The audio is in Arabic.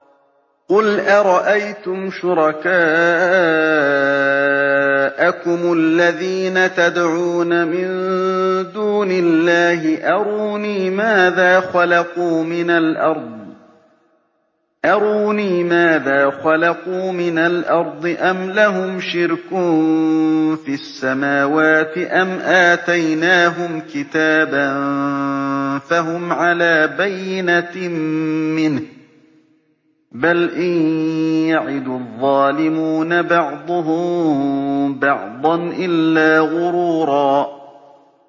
قُلْ أَرَأَيْتُمْ شُرَكَاءَكُمُ الَّذِينَ تَدْعُونَ مِن دُونِ اللَّهِ أَرُونِي مَاذَا خَلَقُوا مِنَ الْأَرْضِ أَمْ لَهُمْ شِرْكٌ فِي السَّمَاوَاتِ أَمْ آتَيْنَاهُمْ كِتَابًا فَهُمْ عَلَىٰ بَيِّنَتٍ مِّنْهُ ۚ بَلْ إِن يَعِدُ الظَّالِمُونَ بَعْضُهُم بَعْضًا إِلَّا غُرُورًا